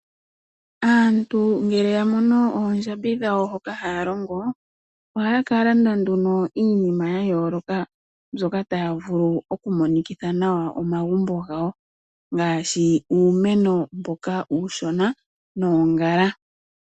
Aantu ngele yamono oondjambi dhawo hoka haya longo, ohaya kalanda nduno iinima ya yooloka, mbyoka tayi vulu okumonikitha nawa omagumbo gawo, ngaashi uumeno mboka uushona, noongala.